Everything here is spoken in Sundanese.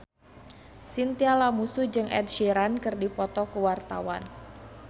Chintya Lamusu jeung Ed Sheeran keur dipoto ku wartawan